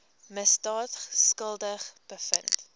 misdaad skuldig bevind